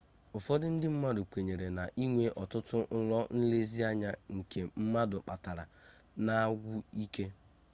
ụfọdụ ndị mmadụ kweere na ịnwe ọtụtụ nrọ nlezianya nke mmadụ kpatara na-agwụ ike